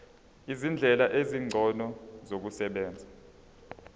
izindlela ezingcono zokusebenza